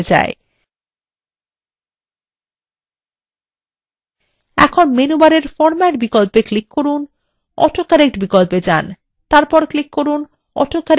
এখন menu বারের format বিকল্প click করুন অটো কারেক্ট বিকল্পে যান তারপর এ click করুন autocorrect options